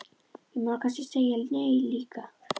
Ég má nú kannski segja nei líka.